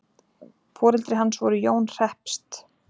Foreldri hans voru Jón hreppst.